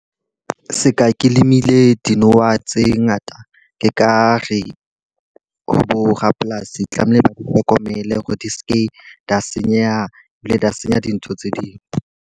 Se ka ke lemile dinowa tse ngata, ke ka re ho borapolasi tlamehile ba di hlokomele hore di seke di a senyeha ebile di a senya dintho tse ding.